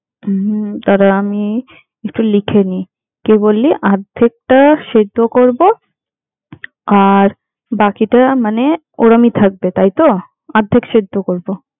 হম দাড়া আমি এটা লিখে নি, তুই বলি আর্ধেকটা সিদ্ধ করবো আর বাকিটা মানে ওরমই থাকবে, তাইতো? অর্ধেক সিদ্ধ করবো।